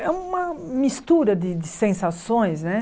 É uma mistura de de sensações, né?